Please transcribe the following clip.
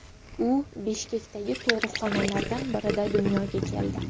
U Bishkekdagi tug‘ruqxonalardan birida dunyoga keldi.